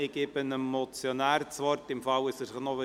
Ich gebe dem Motionär das Wort, falls er sich einloggt.